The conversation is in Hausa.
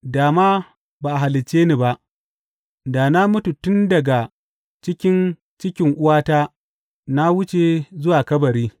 Da ma ba a halicce ni ba, da na mutu tun daga cikin cikin uwata na wuce zuwa kabari!